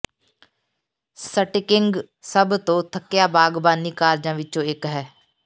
sticking ਸਭ ਤੋਂ ਥੱਕਿਆ ਬਾਗਬਾਨੀ ਕਾਰਜਾਂ ਵਿੱਚੋਂ ਇੱਕ ਹੈ